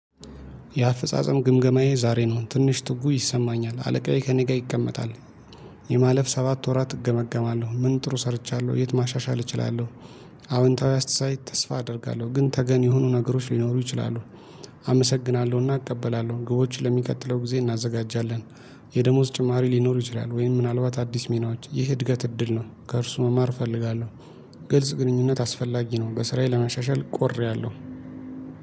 የአፈጻጸም ግምገማዬ ዛሬ ነው ትንሽ ትጉ ይሰማኛል አለቃዬ ከእኔ ጋር ይቀመጣል። የማለፍ ሰባት ወራት እገመገማለሁ ምን ጥሩ ሰርቻለሁ የት ማሻሻል እችላለሁ? አዎንታዊ አስተሳይ ተስፋ አደርጋለሁ ግን ተገን የሆኑ ነገሮች ሊኖሩ ይችላሉ። አመሰግናለሁና እቀበላለሁ ግቦች ለሚቀጥለው ጊዜ እናዘጋጃለን። የደሞዝ ጭማሪ ሊኖር ይችላል ወይም ምናልባት አዲስ ሚናዎች ይህ እድገት እድል ነው። ከእርሱ መማር እፈልጋለሁ። ግልጽ ግንኙነት አስፈላጊ ነው። በስራዬ ለመሻሻል ቆርያለሁ